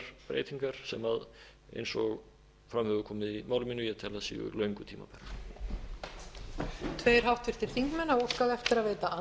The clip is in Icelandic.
breytingar sem eins og fram hefur komið í máli mínu tel að séu löngu tímabærar